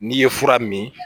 N'i ye fura min